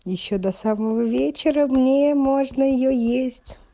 ещё до самого вечера мне можно её есть